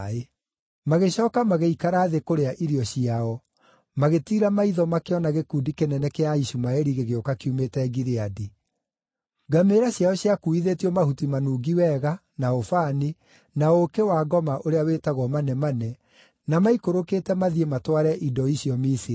Magĩcooka magĩikara thĩ kũrĩa irio ciao, magĩtiira maitho makĩona gĩkundi kĩnene kĩa Aishumaeli gĩgĩũka kiumĩte Gileadi. Ngamĩĩra ciao ciakuuithĩtio mahuti manungi wega, na ũbani, na ũũkĩ-wa-ngoma ũrĩa wĩtagwo manemane, na maikũrũkĩte mathiĩ matware indo icio Misiri.